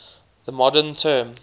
the modern term